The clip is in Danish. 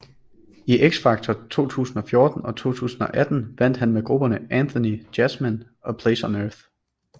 I X Factor 2014 og 2018 vandt han med grupperne Anthony Jasmin og Place on Earth